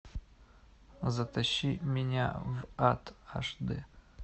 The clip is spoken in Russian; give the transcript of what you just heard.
затащи меня в ад аш д